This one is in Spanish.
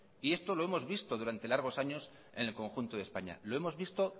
esto lo hemos visto durante largos años en el conjunto de españa lo hemos visto